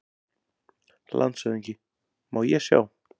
LANDSHÖFÐINGI: Má ég sjá?